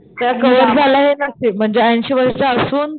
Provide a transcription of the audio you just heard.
त्या कव्हर झाल्या हे नशीब म्हणजे ऐंशी वयाच्या असून,